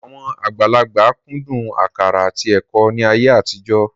Àwọn àgbàlagbà kúndùn àkàrà àti ẹ̀kọ́ ní ayé àtijọ́